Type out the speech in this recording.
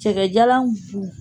Cɛkɛjalan